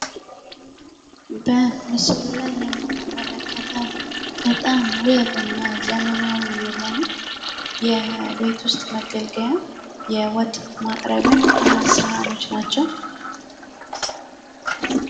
በምስሉ ላይ የምንመለከተው በጣም ውብ እና ዘመናዊ የሆኑ የቤት ውስጥ መገልገያ የወጥ ማቅረቢያ ሰሀኖች ናቸው።